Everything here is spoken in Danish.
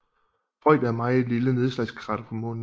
Freud er et meget lille nedslagskrater på Månen